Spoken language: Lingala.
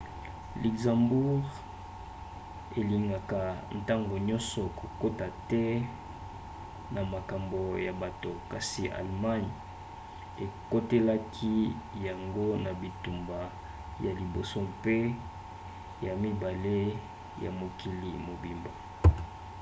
luxembourg elingaka ntango nyonso kokota te na makambo ya bato kasi allemagne ekotelaki yango na bitumba ya liboso mpe ya mibale ya mokili mobimba